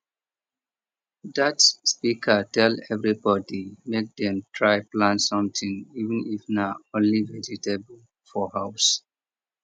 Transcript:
that speaker tell everybody make dem try plant something even if na only vegetable for house